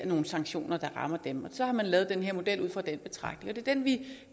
nogle sanktioner der rammer dem så har man lavet den her model ud fra den betragtning er den vi